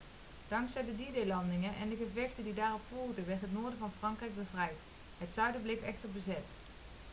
dankzij de d-day-landingen en de gevechten die daarop volgden werd het noorden van frankrijk bevrijd het zuiden bleef echter bezet